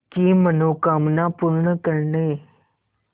की मनोकामना पूर्ण करने